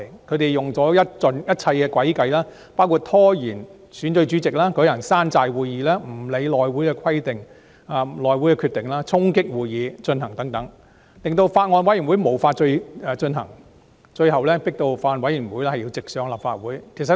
他們用盡一切詭計，包括拖延選舉主席、舉行"山寨會議"、無視內務委員會的決定、衝擊會議進行等，令法案委員會無法行事，最終迫使法案要直上立法會會議進行二讀辯論。